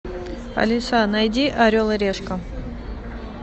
алиса найди орел и решка